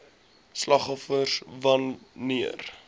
slagoffers wan neer